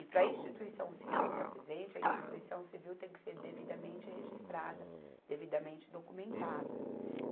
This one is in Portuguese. E para a instituição civil estar presente, a instituição civil tem que ser devidamente registrada, devidamente documentada.